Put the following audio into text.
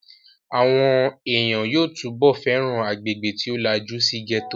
Àwọn èèyàn yóò túbọ̀ fẹ́ràn agbègbè tí ó lajú sí gẹ́tò